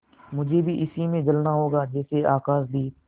मुझे भी इसी में जलना होगा जैसे आकाशदीप